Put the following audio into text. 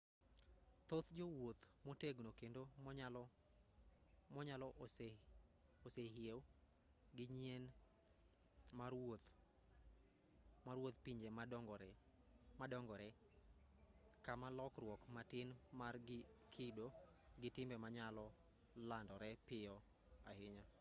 thoth jowuoth motegno kendo monyalo osehew gi nyien mar wuodh pinje madongore kama lokruok matin mar kido gi timbe nyalo landore piyo ahinya